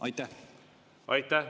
Aitäh!